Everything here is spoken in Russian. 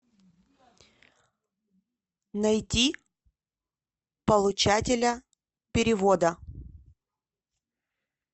найти получателя перевода